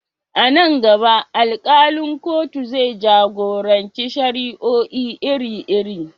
A nan gaba, alkalin kotun zai jagoranci shari'o'i iri-iri.